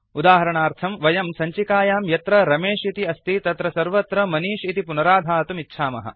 उदाहरणार्थं वयं सञ्चिकयां यत्र रमेश इति अस्ति तत्र सर्वत्र मनिष् इति पुनराधातुम् इच्छामः